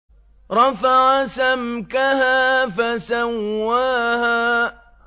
رَفَعَ سَمْكَهَا فَسَوَّاهَا